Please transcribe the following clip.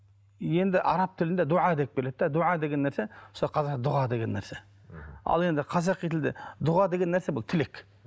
енді араб тілінде деп келеді де деген нәрсе мысалы дұға деген нәрсе мхм ал енді қазақи тілде дұға деген нәрсе бұл тілек